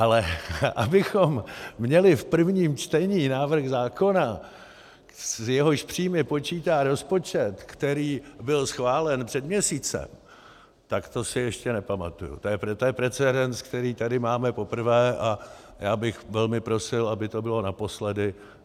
Ale abychom měli v prvním čtení návrh zákona, s jehož příjmy počítá rozpočet, který byl schválen před měsícem, tak to si ještě nepamatuji, to je precedens, který tady máme poprvé, a já bych velmi prosil, aby to bylo naposledy.